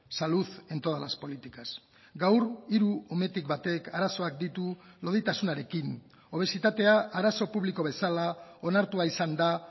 salud en todas las políticas gaur hiru umetik batek arazoak ditu loditasunarekin obesitatea arazo publiko bezala onartua izan da